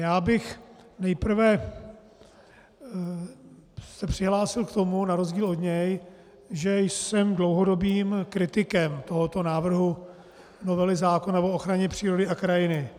Já bych nejprve se přihlásil k tomu, na rozdíl od něj, že jsem dlouhodobým kritikem tohoto návrhu novely zákona o ochraně přírody a krajiny.